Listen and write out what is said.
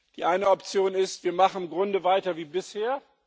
Die eine Option ist Wir machen im Grunde weiter wie bisher.